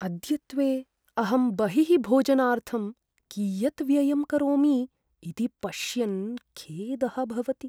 अद्यत्वे अहं बहिः भोजनार्थं कियत् व्ययं करोमि इति पश्यन् खेदः भवति।